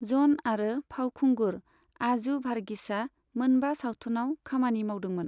ज'न आरो फावखुंगुर आजू भार्गीसआ मोनबा सावथुनआव खामानि मावदोंमोन।